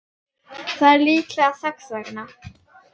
Það er líklega þess vegna.